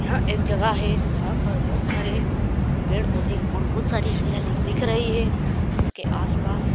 यहां एक जगह है जहां पर बहुत सारे पेड़ पौधे और बहुत सारी हरियाली दिख रही है इसके आस-पास